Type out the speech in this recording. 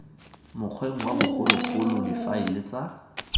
mokgweng wa bogologolo difaele tsa